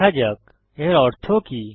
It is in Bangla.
দেখা যাক এর অর্থ কি